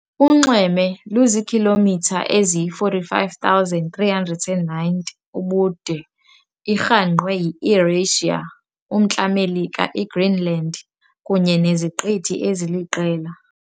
Unxweme luziikhilomitha ezi45,390 ubude Irhangqwe yiEurasia, umNtla Melika, iGreenland, kunye neziqithi eziliqela.